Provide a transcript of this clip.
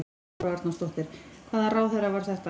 Þóra Arnórsdóttir: Hvaða ráðherra var þetta?